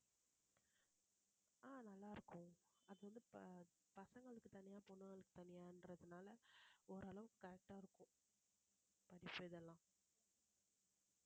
ஆஹ் நல்லா இருக்கும் அது வந்து ப~ பசங்களுக்கு தனியா பொண்ணுங்களுக்கு தனியான்றதுனால ஓரளவுக்கு correct ஆ இருக்கும் இதெல்லாம்